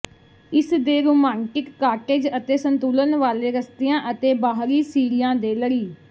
ਇਸਦੇ romantic cottage ਅਤੇ ਸੰਤੁਲਨ ਵਾਲੇ ਰਸਤਿਆਂ ਅਤੇ ਬਾਹਰੀ ਸੀੜੀਆਂ ਦੇ ਲੜੀ